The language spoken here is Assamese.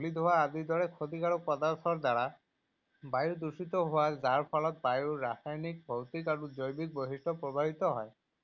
ধুলি, ধোৱা আদিৰ দৰে ক্ষতিকাৰক পদাৰ্থৰ দ্বাৰা বায়ু দূষিত হোৱা যাৰ ফলত বায়ু ৰাসায়নিক, ভৌতিক আৰু জৈৱিক বৰ্ধিত প্ৰবাহিত হয়।